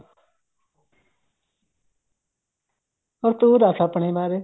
ਹੋਰ ਤੂੰ ਦੱਸ ਆਪਣੇ ਬਾਰੇ